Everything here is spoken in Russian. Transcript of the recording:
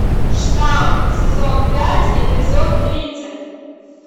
штам сезон пять эпизод тридцать